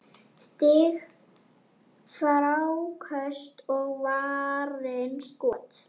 Stig, fráköst og varin skot